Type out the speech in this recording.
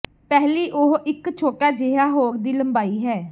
ਪਹਿਲੀ ਉਹ ਇੱਕ ਛੋਟਾ ਜਿਹਾ ਹੋਰ ਦੀ ਲੰਬਾਈ ਹੈ